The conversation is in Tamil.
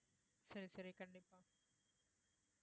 சரி சரி கண்டிப்பா